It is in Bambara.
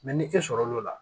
ni e sɔrɔl'o la